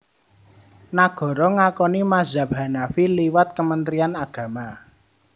Nagara ngakoni mazhab Hanafi liwat Kementrian Agama